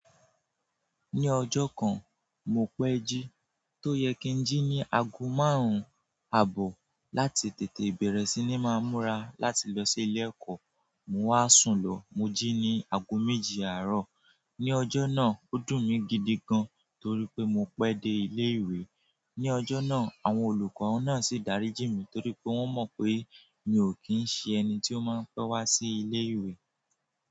Ní ọjọ́ kan, mo pẹ́ jí, tó yẹ kí ń jí ní aago márùn-ún àbọ̀ láti tètè bẹ̀rẹ̀ sí ní máa múra láti lọ sí ilé ẹ̀kọ́, mo wá sùn lọ, mo jí ní aago méje àárọ̀. Ní ọjọ́ náà, ó dùn mí gidi gan torí pé mo pẹ́ dé ilé ìwé. Ní ọjọ́ náà, àwọn olùkọ́ náà sì dáríjì mí torí pé wọ́n mọ̀ pé mi ò kí ń ṣe ẹni tí ó máa ń pẹ́ wá sí ilé ìwé.